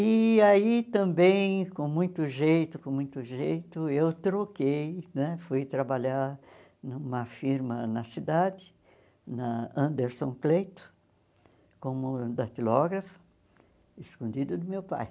E aí também, com muito jeito, com muito jeito, eu troquei né, fui trabalhar numa firma na cidade, na Anderson Cleito, como datilógrafa, escondido do meu pai.